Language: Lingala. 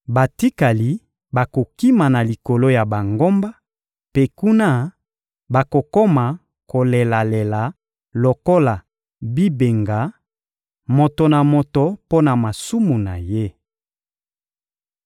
Batikali bakokima na likolo ya bangomba; mpe kuna, bakokoma kolelalela lokola bibenga, moto na moto mpo na masumu na ye.